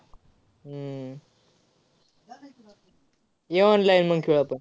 हम्म ये online मग खेळू आपण.